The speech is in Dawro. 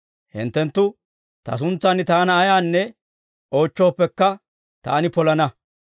Hinttenttu Ta suntsan Taana ayaanne oochchooppekka, Taani polana.